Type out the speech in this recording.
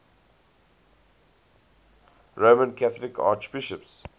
roman catholic archbishops